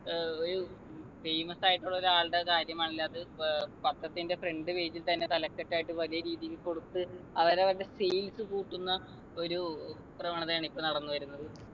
ഏർ ഒരു famous ആയിട്ടുള്ള ഒരാളുടെ കാര്യല്ലാ അത് ഏർ പത്രത്തിൻ്റെ front page ൽ തന്നെ തലക്കെട്ടായിട്ട് വലിയ രീതിയിൽ കൊടുത്ത് അവരവുടെ face കൂട്ടുന്ന ഒരു പ്രവണതയാണ് ഇപ്പൊ നടന്നു വരുന്നത്